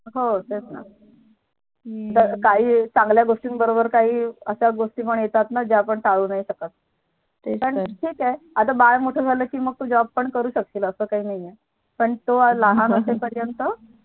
हो तेच ना काई चांगल्या गोष्टींसोबत काही अश्या गोष्टी पण येतात ज्या आपण टाळू शकत नाही तेच तर चल ठीक आहे बाळ मोठं झालं कि तू Job पण करू शकशील आहे तो लहान असे पर्यंत